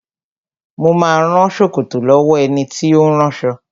Mo ma rán ṣòkòtò lọ́wọ́ ẹni tí ó ń ránṣọ